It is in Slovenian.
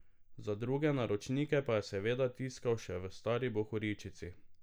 Za druge naročnike pa je seveda tiskal še v stari bohoričici.